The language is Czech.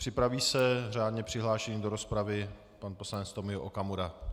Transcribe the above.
Připraví se řádně přihlášený do rozpravy pan poslanec Tomio Okamura.